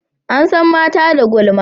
an san mata da gulma